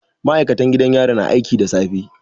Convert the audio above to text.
Ma'aikatan gidan yari na aiki da safe